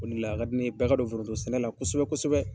O de la a ka di ne ye bɛɛ ka don foronto sɛnɛla kosɛbɛ kosɛbɛ.